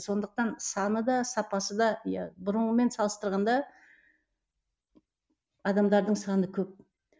сондықтан саны да сапасы да иә бұрынғымен салыстырғанда адамдардың саны көп